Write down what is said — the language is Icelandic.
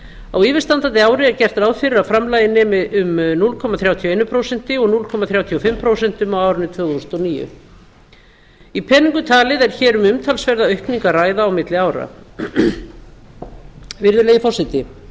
á yfirstandandi ári er gert ráð fyrir að framlagið nemi um núll komma þrjátíu og eitt prósent og núll komma þrjátíu og fimm prósent á árinu tvö þúsund og níu í peningum talið er hér um umtalsverða aukningu að ræða á milli ára virðulegi forseti